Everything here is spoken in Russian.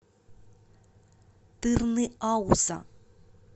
тырныауза